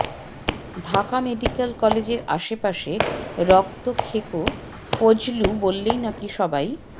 Dhaka medical কলেজের আশপাশে রক্তখেকো ফজলু বললেই নাকি সবাই